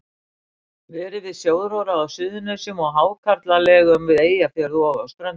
Verið við sjóróðra á Suðurnesjum og í hákarlalegum við Eyjafjörð og á Ströndum.